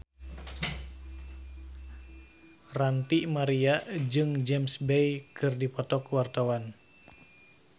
Ranty Maria jeung James Bay keur dipoto ku wartawan